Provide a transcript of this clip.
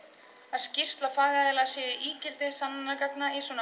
að skýrsla fagaðila sé ígildi sönnunargagna